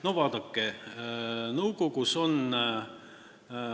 No vaadake, nõukogus on ...